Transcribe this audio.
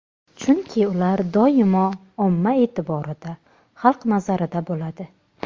Chunki ular doimo omma e’tiborida, xalq nazarida bo‘ladi.